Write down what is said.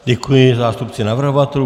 Děkuji, zástupci navrhovatelů.